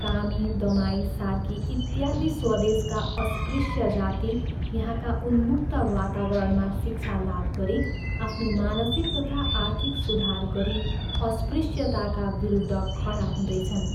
कामी, दमाई, सार्की इत्यादि स्वदेशका अस्पृश्य जाति यहाँका उन्मुक्त वातावरणमा शिक्षा लाभ गरी आफ्नो मानसिक तथा आर्थिक सुधार गरी अस्पृश्यताका विरुद्ध खडा हुँदैछन्।